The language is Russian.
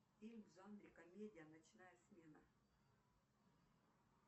фильм в жанре комедия ночная смена